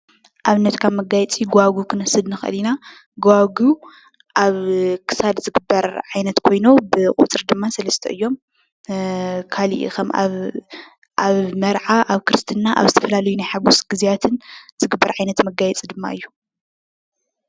ኣብነት ካብ መጋየፂ ገዋግብ ክንወስድ ንኽእል ኢና። ገዋግብ ኣብ ክሳድ ዝግበር ዓይነት ኮይኑ ብቁፅሪ ድማ ሰለስተ እዮም። ካልእ ኣብ መርዓ ኣብ ክርስትና ኣብ ዝተፈላለዩ ናይ ሓጎስ ግዝያትን ዝግበር ዓይነት መጋየፂ ድማ እዩ።